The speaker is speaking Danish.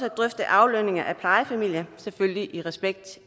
at drøfte aflønning af plejefamilier selvfølgelig i respekt